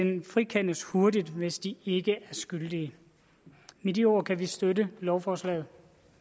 frikendes hurtigt hvis de ikke er skyldige med de ord kan vi støtte lovforslaget